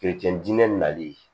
diinɛ nali ye